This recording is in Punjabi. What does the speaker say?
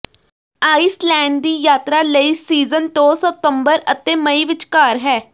ਆਈਸਲੈਂਡ ਦੀ ਯਾਤਰਾ ਲਈ ਸੀਜ਼ਨ ਤੋਂ ਸਤੰਬਰ ਅਤੇ ਮਈ ਵਿਚਕਾਰ ਹੈ